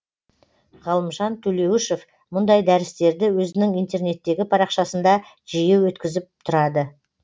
ғалымжан төлеуішов мұндай дәрістерді өзінің интернеттегі парақшасында жиі өткізіп тұрады